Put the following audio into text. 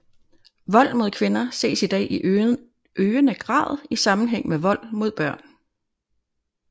Vold mod kvinder ses i dag i øgende grad i sammenhæng med vold mod børn